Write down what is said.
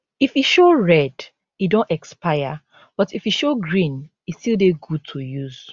if e show red e don expire but if e show green e still dey good to use